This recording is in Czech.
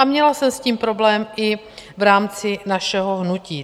A měla jsem s tím problém i v rámci našeho hnutí.